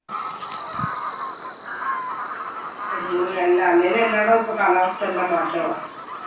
അല്ലേലും എല്ലാ ഇടോം ഇപ്പൊ കാലാവസ്ഥ എല്ലാം മാറ്റമാ.